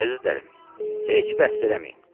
Əzizlərim, heç bəhs eləməyin.